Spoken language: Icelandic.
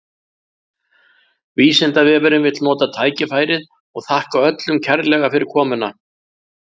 Vísindavefurinn vill nota tækifærið og þakka öllum kærlega fyrir komuna!